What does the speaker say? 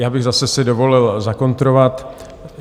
Já bych si zase dovolil zakontrovat.